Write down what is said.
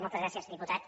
moltes gràcies diputat